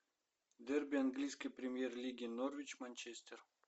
дерби английской премьер лиги норвич манчестер